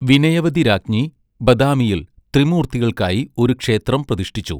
വിനയവതി രാജ്ഞി ബദാമിയിൽ ത്രിമൂർത്തികൾക്കായി ഒരു ക്ഷേത്രം പ്രതിഷ്ഠിച്ചു.